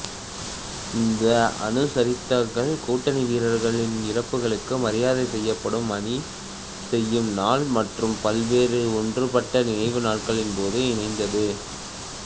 இந்த அனுசரித்தல்கள் கூட்டணி வீரர்களின் இறப்புகளுக்கு மரியாதை செய்யப்படும் அணிசெய்யும் நாள் மற்றும் பல்வேறு ஒன்றுபட்ட நினைவு நாட்களின்போது இணைந்தது